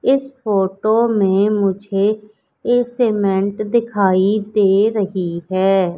इस फोटो में मुझे एक सीमेंट दिखाई दे रही है।